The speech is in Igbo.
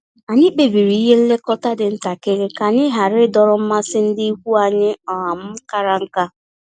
Anyị kpebiri ihe nlekọta dị ntakịrị ka anyị ghara idọrọ mmasị ndị ikwu anyị um kara nka